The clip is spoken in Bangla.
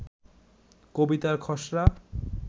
কবিতার খসড়া